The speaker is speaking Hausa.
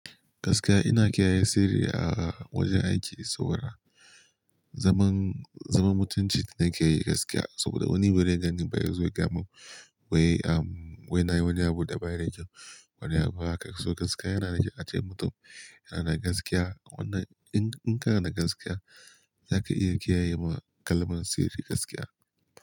Gaskiya ina kiyaye sirri a wajen aiki sau da rana. Zaman, zaman mutunci nake yi gaskiya saboda wani baze gan ni ba yazo ya gayama.n wai, am wai na yi wani abu da ba ya da kyau. Wani abu haka. So gaskiya yana na ajiye mutum, yana na gaskiya. Wanna in, in ka na da gaskiya zaka iya kiyaye ma kalmar sirri gaskiya.